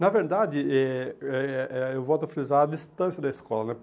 Na verdade, eh eh eh eu volto a frisar, a distância da escola né.